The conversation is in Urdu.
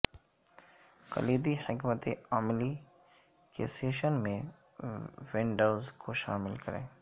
کلیدی حکمت عملی کے سیشن میں وینڈرز کو شامل کریں